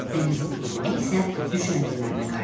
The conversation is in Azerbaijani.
Dəniz quldurları isə düşərgələrinə qayıtdılar.